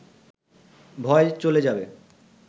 ভয় চলে যাবে